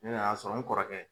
Ne n'a sɔrɔ n kɔrɔkɛ